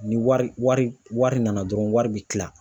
Ni wari wari wari nana dɔrɔn w, wari bi kila